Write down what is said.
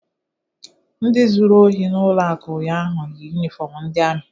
Ndị zuru ohi n'ụlọ akụ ụnyaahụ yi yunifọmụ ndị amị.